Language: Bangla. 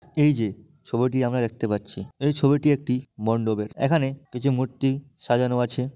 এই যে ছবিটি আমরা দেখতে পাচ্ছি। এই ছবিটি একটি মন্ডপের। এখানে কিছু মুর্তি সাজানো আছে।